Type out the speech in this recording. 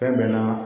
Fɛn bɛ na